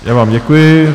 Já vám děkuji.